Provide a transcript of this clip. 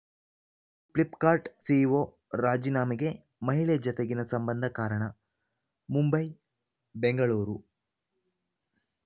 Flipkart CEO ರಾಜೀನಾಮೆಗೆ ಮಹಿಳೆ ಜತೆಗಿನ ಸಂಬಂಧ ಕಾರಣ ಮುಂಬೈಬೆಂಗಳೂರು